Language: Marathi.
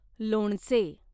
लोणचे